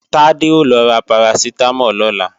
Tádé ó lọ ra Paracetamol lọ́la